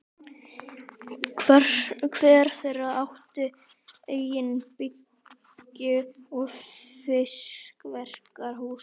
Hver þeirra átti eigin bryggju og fiskverkunarhús.